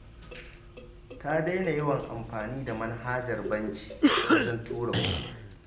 Ta daina yawan amfani da manhajar banki wajen tura kuɗi